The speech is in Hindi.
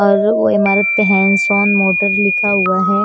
और वो इमारत पे हैंड्स ऑन मोटर लिखा हुआ है।